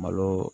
Malo